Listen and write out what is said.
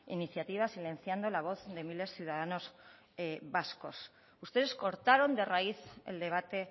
iniciativa silenciando la voz de miles de ciudadanos vascos ustedes cortaron de raíz el debate